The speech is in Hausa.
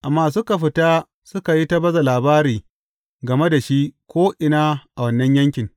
Amma suka fita suka yi ta baza labari game da shi ko’ina a wannan yankin.